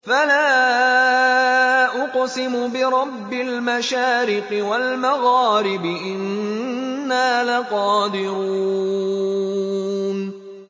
فَلَا أُقْسِمُ بِرَبِّ الْمَشَارِقِ وَالْمَغَارِبِ إِنَّا لَقَادِرُونَ